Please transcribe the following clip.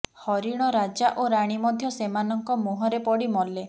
ହରିଣ ରାଜା ଓ ରାଣୀ ମଧ୍ୟ ସେମାନଙ୍କ ମୁହଁରେ ପଡ଼ି ମଲେ